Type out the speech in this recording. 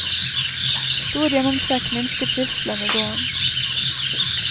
Stor gjennomtrekk minsker trivselen i gården.